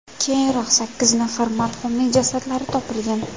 Keyinroq sakkiz nafar marhumning jasadlari topilgan.